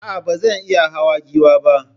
Aa, bazan iya hawa Giwa ba